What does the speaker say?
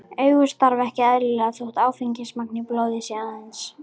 Augu starfa ekki eðlilega þótt áfengismagn í blóði sé aðeins